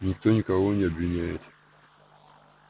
никто никого не обвиняет